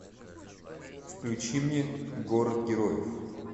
включи мне город героев